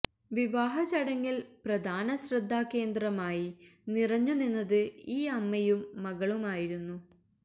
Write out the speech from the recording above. വിവാഹ ചടങ്ങില് പ്രധാന ശ്രദ്ധാ കേന്ദ്രമായി നിറഞ്ഞു നിന്നത് ഈ അമ്മയും മകളുമായിരുന്നു